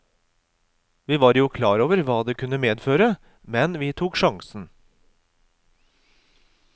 Vi var jo klar over hva det kunne medføre, men vi tok sjansen.